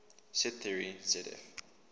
set theory zf